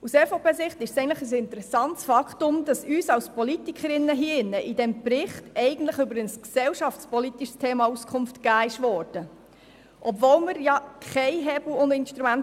Aus EVPSicht ist es ein interessantes Faktum, dass uns als Politikerinnen und Politikern in diesem Bericht eigentlich über ein gesellschaftspolitisches Problem Auskunft gegeben wurde.